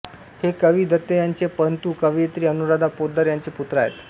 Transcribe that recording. हे कवी दत्त यांचे पणतू कवयित्री अनुराधा पोतदार यांचे पुत्र आहेत